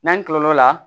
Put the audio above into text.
N'an tilal'o la